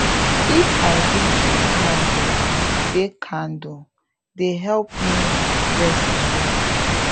if i read with candle dey candle dey help me rest well